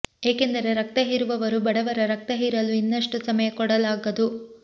ಏಕೆಂದರೆ ರಕ್ತ ಹೀರುವವರು ಬಡವರ ರಕ್ತ ಹೀರಲು ಇನ್ನಷ್ಟು ಸಮಯ ಕೊಡಲಾಗದು